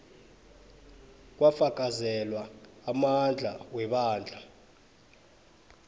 kwafakazelwa amandla webandla